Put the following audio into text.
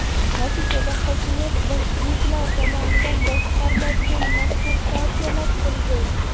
Natijada, hokimiyat bolsheviklar tomonidan boshqariladigan mazkur partiyalar qo‘liga o‘tdi.